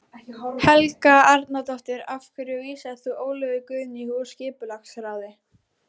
Helga Arnardóttir: Af hverju vísaðir þú Ólöfu Guðnýju úr skipulagsráði?